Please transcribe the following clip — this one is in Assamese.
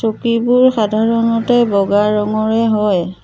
চকীবোৰ সাধাৰণতে বগা ৰঙৰে হয়।